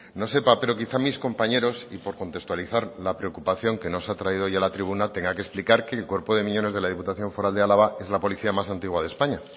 no sepa pero quizás mis compañeros y por contextualizar la preocupación que nos ha traído hoy a la tribuna tenga que explicar que el cuerpo de miñones de la diputación foral de álava es la policía más antigua de españa